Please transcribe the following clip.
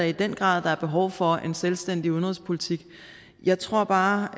i den grad er behov for en selvstændig udenrigspolitik jeg tror bare